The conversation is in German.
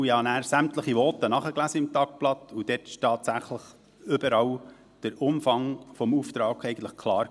Ich habe nachher sämtliche Voten im Tagblatt nachgelesen, und tatsächlich: Dort war der Umfang des Auftrags eigentlich überall klar.